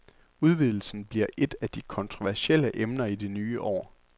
Udvidelsen bliver et af de kontroversielle emner i det nye år.